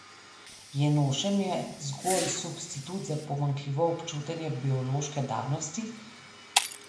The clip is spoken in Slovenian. Je nošenje zgolj substitut za pomanjkljivo občutenje biološke danosti?